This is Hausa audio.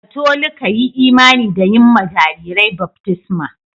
Katolika yi imani da yin ma jarirai baftisma.